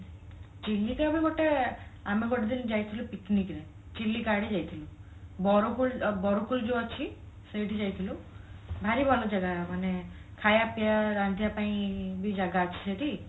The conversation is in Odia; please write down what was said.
ଚିଲିକା ବି ଗୋଟେ ଆମେ ଗୋଟେ ଦିନ ଯାଇଥିଲୁ picnic ରେ ଚିଲିକା ଆଡେ ଯାଇଥିଲୁ ବରକୋଳ ବରକୋଳି ଯୋଉ ଅଛି ସେଇଠି ଯାଇଥିଲୁ ଭାରି ଭଲ ଜାଗା ମାନେ ଖାଇବା ପିଇବା ରାନ୍ଧିବା ପାଇଁ ବି ଜାଗା ଅଛି ସେଠି